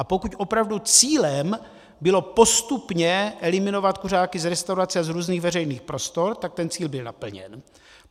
A pokud opravdu cílem bylo postupně eliminovat kuřáky z restaurací a z různých veřejných prostor, tak ten cíl byl naplněn.